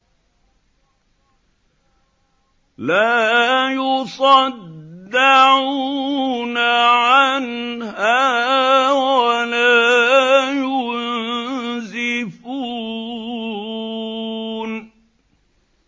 لَّا يُصَدَّعُونَ عَنْهَا وَلَا يُنزِفُونَ